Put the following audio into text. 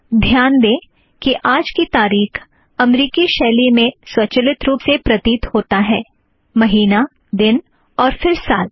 ध्यान दें कि आज की तारीख अमेरिकी शैली में स्वचालित रूप से प्रतीत होता है160 महीना दिन और फ़िर साल